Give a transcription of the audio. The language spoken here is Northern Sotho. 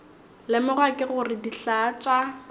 lemoga ke gore dihlaa tša